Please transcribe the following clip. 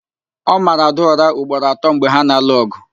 Ọ mara Ada ụra ugboro atọ mgbe ha na-alụ ọgụ